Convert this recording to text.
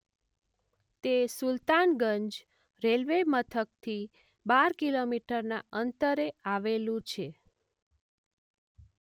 તે સુલતાનગંજ રેલવે મથકથી બાર કિલોમીટરના અંતરે આવેલું છે.